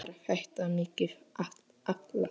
Var þetta mikið áfall?